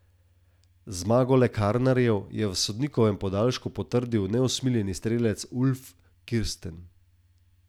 Zmago lekarnarjev je v sodnikovem podaljšku potrdil neusmiljeni strelec Ulf Kirsten.